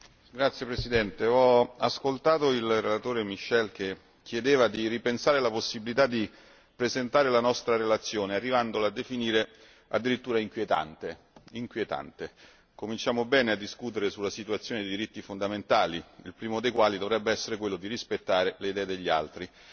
Signor Presidente, onorevoli colleghi, ho ascoltato il relatore Michel che chiedeva di ripensare la possibilità di presentare la nostra relazione arrivando a definirla addirittura inquietante. Cominciamo bene a discutere sulla situazione dei diritti fondamentali, il primo dei quali dovrebbe essere quello di rispettare le idee degli altri.